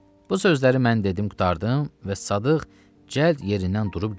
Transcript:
Bu sözləri mən dedim qurtardım və Sadıq cəld yerindən durub gəldi.